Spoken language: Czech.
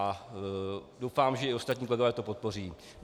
A doufám, že i ostatní kolegové to podpoří.